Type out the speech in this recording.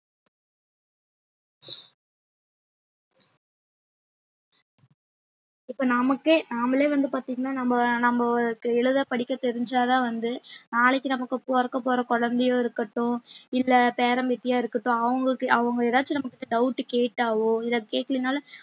இப்ப நமக்கே நாமளே வந்து பாத்தீங்கன்னா நம்ம நம்பளுக்கு எழுத படிக்க தெரிஞ்சாதான் வந்து நாளைக்கு நமக்கு பொறக்கப் போற குழந்தையோ இருக்கட்டும் இல்ல பேரன் பேத்தியா இருக்கட்டும் அவங்களுக்கு அவங்க ஏதாச்சும் நம்மக்கிட்ட doubt கேட்டாவோ இல்ல கேக்கலைன்னாலும்